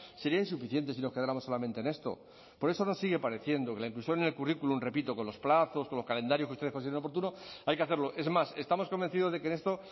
sería insuficientes si nos quedáramos solamente en esto por eso nos sigue pareciendo que la inclusión en el currículum repito con los plazos con los calendarios que ustedes consideren oportuno hay que hacerlo es más estamos convencidos de que en esto